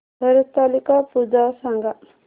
हरतालिका पूजा सांग